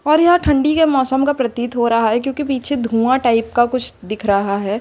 और यह ठंडी के मौसम का प्रतीत हो रहा है क्योंकि पीछे धुआं टाइप का कुछ दिख रहा है।